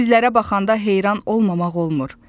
Sizlərə baxanda heyran olmamaq olmur.